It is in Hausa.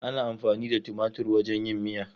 Ana amfani da tumatir wajen yin miya.